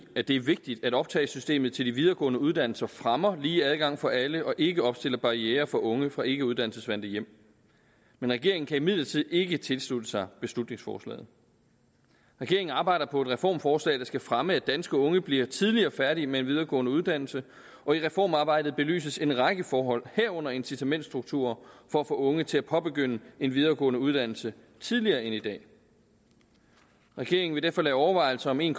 at det er vigtigt at optagesystemet til de videregående uddannelser fremmer lige adgang for alle og ikke opstiller barrierer for unge fra ikkeuddannelsesvante hjem men regeringen kan imidlertid ikke tilslutte sig beslutningsforslaget regeringen arbejder på et reformforslag der skal fremme at danske unge bliver tidligere færdige med en videregående uddannelse og i reformarbejdet belyses en række forhold herunder incitamentstrukturer for at få unge til at påbegynde en videregående uddannelse tidligere end i dag regeringen vil derfor lade overvejelser om en